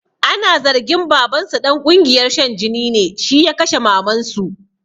Ana zargin babansu ɗan ƙungiyar shan jini ne, shi ya kashe mamansu